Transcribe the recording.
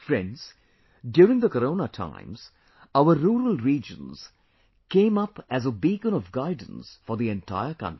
Friends, during the Corona times, our rural regions came up as a beacon of guidance for the entire country